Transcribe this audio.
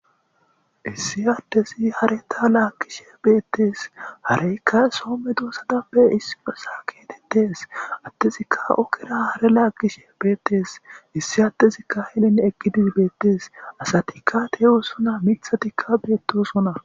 Issi addezi hareta laaggishe beetees.hareyka soo medosa geetees. Addezika ogera hare laagishe beetes. Issi adezi henin eqqidi beetees. Asatika beetosona. Miththatika beetosona.